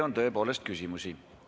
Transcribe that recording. Tõepoolest, teile on küsimusi.